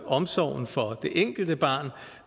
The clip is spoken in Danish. omsorgen for det enkelte barn